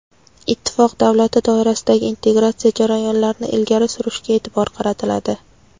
Ittifoq davlati doirasidagi integratsiya jarayonlarini ilgari surishga e’tibor qaratiladi.